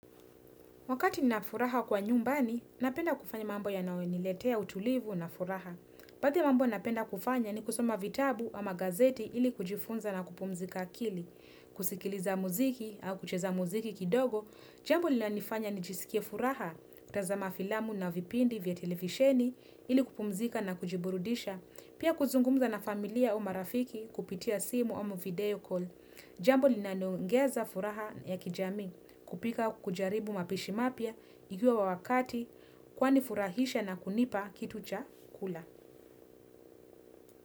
Wakati ninafuraha kwa nyumbani, napenda kufanya mambo yanayoniletea utulivu na furaha. Baadhi ya mambo napenda kufanya ni kusoma vitabu ama gazeti ili kujifunza na kupumzika akili. Kusikiliza muziki au kucheza muziki kidogo, jambo lina nifanya nijisikie furaha, kutazama filamu na vipindi vya televisheni ili kupumzika na kujiburudisha, pia kuzungumza na familia au marafiki kupitia simu au video call. Jambo linaloongeza furaha ya kijamii kupika kujaribu mapishi mapya ikiwa wakati kwani furahisha na kunipa kitu cha kula.